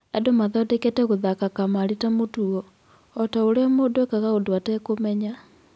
"Andũ mathondekete gũthaka kamarĩ ta mũtugo, otaũria mũndũ ekaga ũndũ etekũmenya.